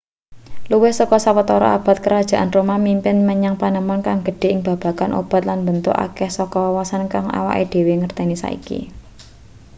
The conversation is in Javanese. luwih saka sawetara abad kerajaan roma mimpin menyang panemon kang gedhe ing babagan obat lan mbentuk akeh saka wawasan kang awake dhewe ngerteni saiki